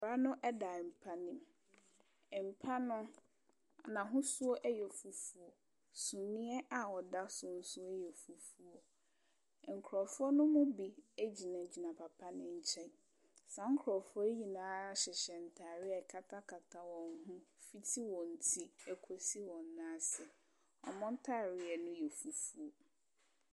Papa no da mpa ne mu, mpa no n’ahosuo yɛ fufuo, na suneɛ a ɔda so nso yɛ fufuo, nkurɔfoɔ ne mu bi gyinagyina papa no nkyɛn, saa nkurɔfoɔ yi nyinaa hyehyɛ ntaade a ɛkatakata wɔn ho fiti wɔn ti kɔsi wɔn nan ase. Wɔn ntaadeɛ no yɛ fufuo.